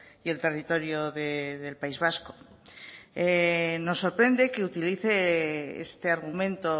y el territorio del país vasco nos sorprende que utilice este argumento